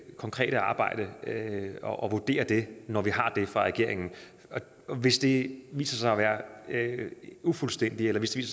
konkrete arbejde og vurdere det når vi har det fra regeringen og hvis det viser sig at være ufuldstændigt eller hvis det